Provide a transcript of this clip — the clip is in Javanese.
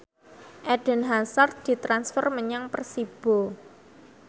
Eden Hazard ditransfer menyang Persibo